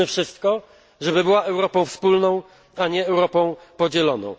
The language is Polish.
Zróbmy wszystko, żeby była Europą wspólną, a nie Europą podzieloną.